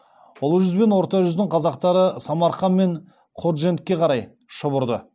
ұлы жүз бен орта жүздің қазақтары самарқан пен ходжентке қарай шұбырды